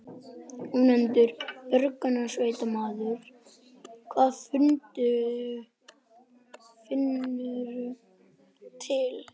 Ónefndur björgunarsveitarmaður: Hvar finnurðu til?